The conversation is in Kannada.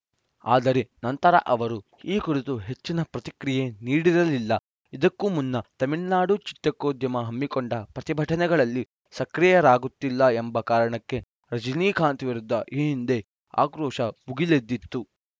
ಆದರೆ ನಂತರ ಅವರು ಈ ಕುರಿತು ಹೆಚ್ಚಿನ ಪ್ರತಿಕ್ರಿಯೆ ನೀಡಿರಲಿಲ್ಲ ಇದಕ್ಕೂ ಮುನ್ನ ತಮಿಳುನಾಡು ಚಿತ್ರೋದ್ಯಮ ಹಮ್ಮಿಕೊಂಡ ಪ್ರತಿಭಟನೆಗಳಲ್ಲಿ ಸಕ್ರಿಯರಾಗುತ್ತಿಲ್ಲ ಎಂಬ ಕಾರಣಕ್ಕೆ ರಜನೀಕಾಂತ್‌ ವಿರುದ್ಧ ಈ ಹಿಂದೆ ಆಕ್ರೋಶ ಭುಗಿಲೆದ್ದಿತ್ತು